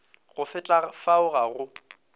go feta fao ga go